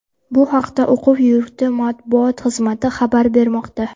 Bu haqda o‘quv yurti matbuot xizmati xabar bermoqda .